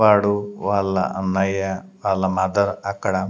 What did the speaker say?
వాడు వాళ్ళ అన్నయ్య వాళ్ళ మదర్ అక్కడ.